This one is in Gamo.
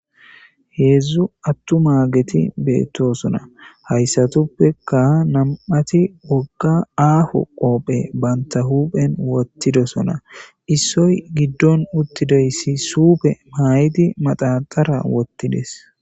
Heezzu aththumaageethi beeththoosona; haysathuppekka nam7athi aaho qophe banththa huuphen woththidosona; issoy giddon uththizoy isi suufe maayidi mathan dabththara woththidi des.